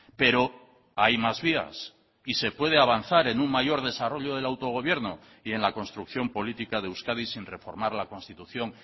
pero hay más vías y se puede avanzar en un mayor desarrollo del autogobierno y en la construcción política de euskadi sin reformar la constitución